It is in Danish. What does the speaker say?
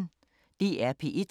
DR P1